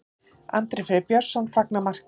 Andri Freyr Björnsson fagnar marki.